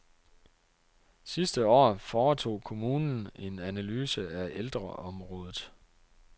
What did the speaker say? Sidste år foretog kommunen en analyse af ældreområdet.